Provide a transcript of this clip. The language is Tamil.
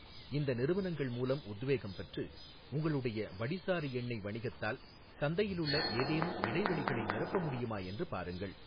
இந்த நிறுவனங்கள் மூலம் உத்வேகம் பெற்று, உங்களுடைய வடிசாறு எண்ணெய் வணிகத்தால் சந்தையிலுள்ள ஏதேனும் இடைவெளிகளை நிரப்பமுடியுமா என்று பாருங்கள்.